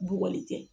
Bugɔli kɛ